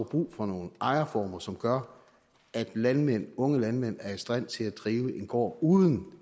brug for nogle ejerformer som gør at landmænd unge landmænd er i stand til at drive en gård uden